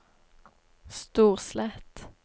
Storslett